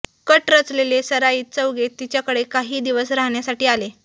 cut रचलेले सराईत चौघे तिच्याकडे काही दिवस राहण्यासाठी आले